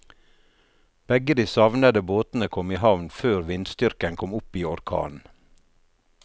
Begge de savnede båtene kom i havn før vindstyrken kom opp i orkan.